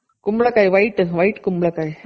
ಕುಂಬಳ್ ಕಾಯಿ white, white ಕುಂಬಳ ಕಾಯಿ